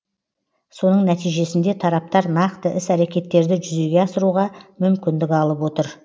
соның нәтижесінде тараптар нақты іс әрекеттерді жүзеге асыруға мүмкіндік алып отыр